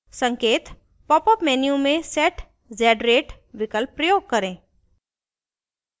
संकेत: popup menu में set z rate विकल्प प्रयोग करें